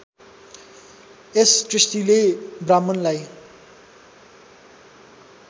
यस दृष्टिले ब्राह्मणलाई